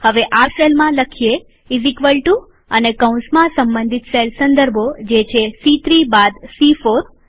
હવે આ સેલમાંલખીએ ઈઝ એક્વલ ટુ અને કૌંસમાં સંબંધિત સેલ સંદર્ભોજે છે સી૩ બાદ સી૪